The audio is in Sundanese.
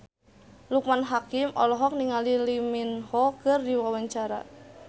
Loekman Hakim olohok ningali Lee Min Ho keur diwawancara